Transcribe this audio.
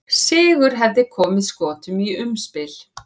Sigur hefði komið Skotum í umspil.